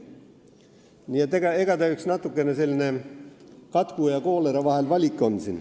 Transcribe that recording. Nii et eks ta natuke selline katku ja koolera vaheline valik on.